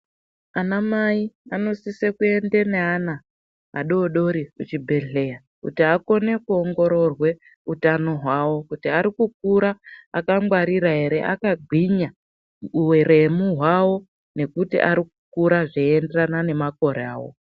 Ana mai vanosisa kuende neana vadodori kuchibhedhlera kuti akone kuongororwe utano hwavo kuti vari kukura akangwarira here akagwinya uremu hwavo nekuti arikukura zveyienderana nemakore avo.